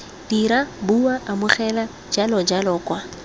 dira bua amogela jalojalo kwa